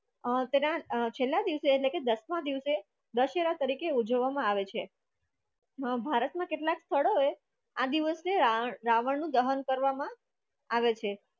અ તેના અ છેલ્લા દિવસે એટલે કે દસમા દિવસે દશેરા તરીકે ઉજવવામાં આવે છે. મહાભારતમાં કેટલાક સ્થળોએ આ દિવસે રાવણનું દહન કરવામાં આવે છે